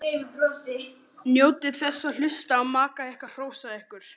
Njótið þess að hlusta á maka ykkar hrósa ykkur.